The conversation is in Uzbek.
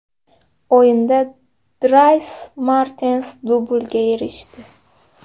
O‘yinda Dris Mertens dublga erishdi.